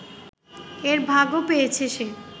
এর ভাগও পেয়েছে সে